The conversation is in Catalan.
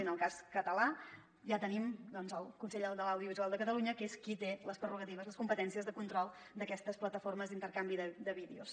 en el cas català ja tenim el consell de l’audiovisual de catalunya que és qui té les prerrogatives les competències de control d’aquestes plataformes d’intercanvi de vídeos